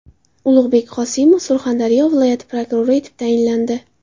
Ulug‘bek Qosimov Surxondaryo viloyati prokurori etib tayinlandi.